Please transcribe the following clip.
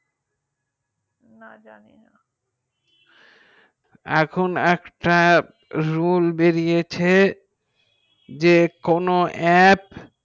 না জানি না এখন একটা rules বেরিয়েছে যে কোনো aap